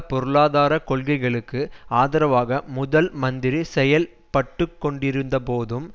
பொருளாதார கொள்கைகளுக்கு ஆதரவாக முதல் மந்திரி செயல்பட்டுக்கொண்டிருந்தபோதும்